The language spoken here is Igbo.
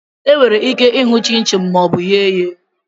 Enwere ike hụ chinchin ma ọ bụ eghe ya